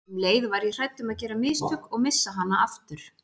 Um leið var ég hrædd um að gera mistök og missa hana aftur.